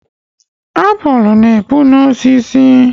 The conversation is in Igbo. Apụl na-epu n'osisi